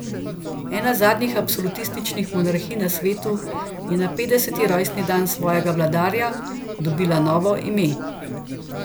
Ena zadnjih absolutističnih monarhij na svetu je na petdeseti rojstni dan svojega vladarja dobila novo ime.